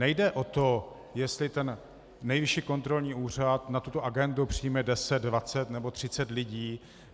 Nejde o to, jestli ten Nejvyšší kontrolní úřad na tuto agendu přijme 10, 20 nebo 30 lidí.